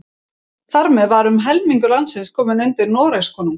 Þar með var um helmingur landsins kominn undir Noregskonung.